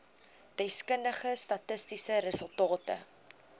deskundige statistiese resultate